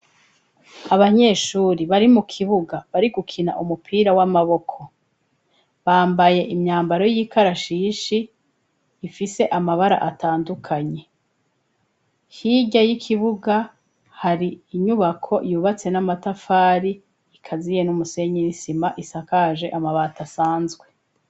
Abanyeshuri bari mu kibuga bari gukina umupira w'amaboko, bambaye imyambaro y'ikarashishi ifise amabara atandukanye, hirya y'ikibuga hari inyubako yubatse n'amatafari ikaziye n'umusenyi n'isima isakaje amabati asanzwe.